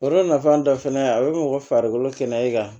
Yɔrɔ nafan dɔ fɛnɛ a bɛ mɔgɔ farikolo kɛnɛya i ka